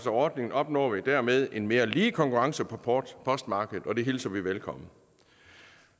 af ordningen opnår vi derved en mere lige konkurrence på postmarkedet og det hilser vi velkommen